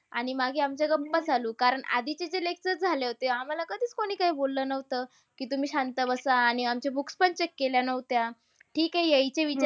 आणि मागे आमच्या गप्पा चालू कारण आधीचे जे lecture झाले होते, आम्हाला कधीच कोणी काय बोललं नव्हतं. की तुम्ही शांत बसा. आणि आमच्या books पण check केल्या न्हवत्या. ठीक आहे येयचे विचार